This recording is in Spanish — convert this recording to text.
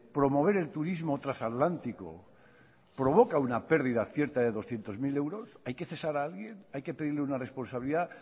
promover el turismo trasatlántico provoca una pérdida cierta de doscientos mil euros hay que cesar a alguien hay que pedir una responsabilidad